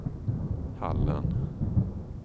Hallen